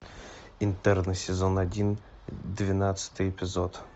интерны сезон один двенадцатый эпизод